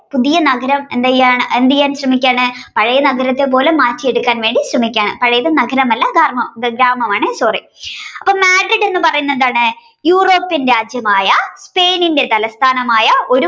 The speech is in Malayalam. പുതിയ നഗരം എന്തെയ്യാൻഎന്തെയ്യാൻ ശ്രമിക്കാണ് പഴയ നഗരം പോലെ മാറ്റിവയ്ക്കാൻ ശ്രമിക്കാണ് പഴയത് നഗരമല്ല ഗ്രാമഗ്രാമമാണ് sorry അപ്പോൾ mandrid എന്ന് പറയുന്നത് എന്താണ് european രാജ്യമായ spain തലസ്ഥാനമായ ഒരു